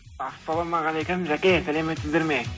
ассаламағалейкум жәке сәлеметсіздер ме